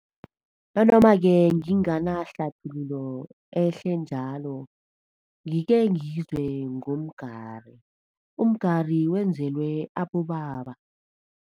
Nanoma-ke nginganahlathululo ehle njalo, ngike ngizwe ngomgari. Umgari wenzelwe abobaba.